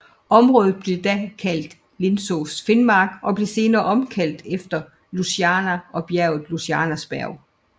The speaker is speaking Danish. Området blev da kaldt Lindesås finnmark og blev senere opkaldt efter søen Ljusnaren og bjerget Ljusnarsberg